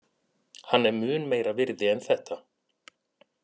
Hann er mun meira virði en þetta.